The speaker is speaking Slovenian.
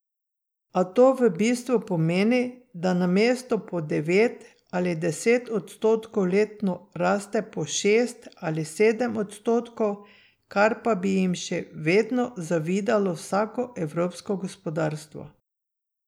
A to v bistvu pomeni, da namesto po devet ali deset odstotkov letno raste po šest ali sedem odstotkov, kar pa bi jim še vedno zavidalo vsako evropsko gospodarstvo.